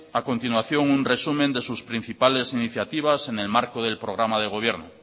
a continuación un resumen de sus principales iniciativas en el marco del programa de gobierno